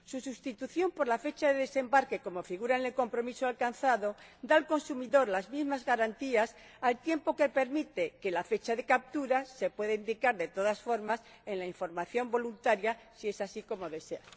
Su sustitución por la fecha de desembarque, como figura en el compromiso alcanzado, da al consumidor las mismas garantías, al tiempo que permite que la fecha de captura se pueda indicar, de todas formas, en la información voluntaria, si es así como se desea.